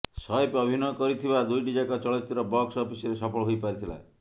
ସୈଫ୍ ଅଭିନୟ କରିଥିବା ଦୁଇଟିଯାକ ଚଳଚ୍ଚିତ୍ର ବକ୍ସ ଅଫିସରେ ସଫଳ ହୋଇ ପାରିଥିଲା